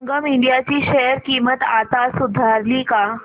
संगम India ची share किंमत आता सुधारली का